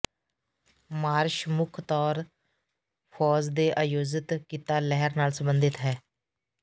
marsh ਮੁੱਖ ਤੌਰ ਫ਼ੌਜ ਦੇ ਆਯੋਜਿਤ ਕੀਤਾ ਲਹਿਰ ਨਾਲ ਸੰਬੰਧਿਤ ਹੈ